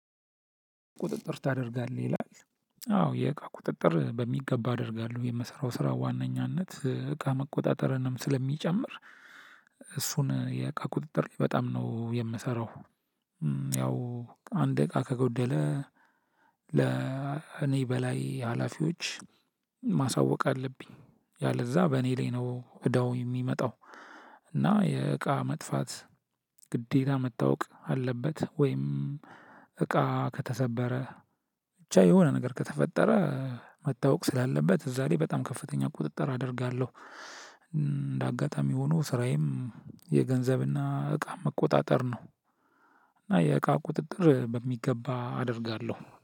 ቁጥጥር ታደርጋለህ ይላል አዎ የእቃ ቁጥጥር በሚገባ አደርጋለሁ የምሰራው ስራ ዋናኛነት እቃ መቆጣጠርንም ስለሚጨምር እሱን የእቃ ቁጥጥር በጣም ነው የምሰራው። ያው አንድ እቃ ከጎደለ ለእኔ በላይ ሀላፊዎች ማሳወቅ አለብኝ ያለዛ በእኔ ላይ ነው እዳው የሚመጣው። እና የእቃ መጥፋት ግዴታ መታወቅ አለበት። ወይም እቃ ከተሰበረ ብቻ የሆነ ነገር ከተፈጠረ መታወቅ ስላለበት እዛ ላይ በጣም ከፍተኛ ቁጥጥር አደርጋለሁ። እንደ አጋጣሚ ሆኖ ስራዬም የገንዘብ እና እቃ መቆጣጠር ነው። እና የእቃ ቁጥጥር በሚገባ አደርጋለሁ